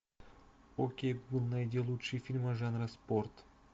окей гугл найди лучшие фильмы жанра спорт